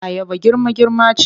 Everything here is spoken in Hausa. Ayaba girma-girma ce.